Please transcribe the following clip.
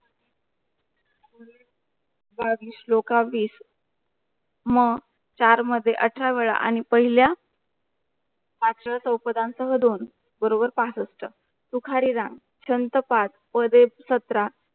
बावीस श्लोखाबीस मह चार मध्ये अठरा वेळा आणि पहिल्या अठरा चौपदांसह दोन बरोबर पासष्ठ सुखरीराम संत पाठ प्रादेप सत्र